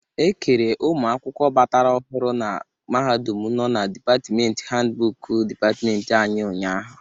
E kere ụmụakwụkwọ batara ọhụrụ na mahadum nọ na dịpatmenti handbụku dịpatmenti anyị ụnyaahụ.